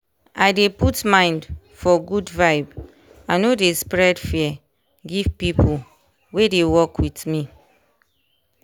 i dey put mind for good vibe i no dey spread fear give people wey dey work with me.